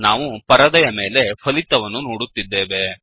ನಾವು ಪರದೆಯ ಮೇಲೆ ಫಲಿತವನ್ನು ನೋಡುತ್ತಿದ್ದೇವೆ